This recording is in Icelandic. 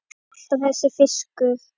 Alltaf þessi fiskur.